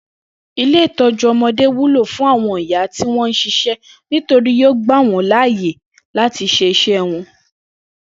Ilé ìtó̩jú o̩mo̩dé wúlò fún àwo̩n ìyá tí wó̩n ń s̩is̩é̩ nítorí yóò gbà wó̩n láàyè láti s̩is̩é̩ wo̩n